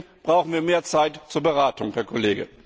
Und deswegen brauchen wir mehr Zeit zur Beratung, Herr Kollege.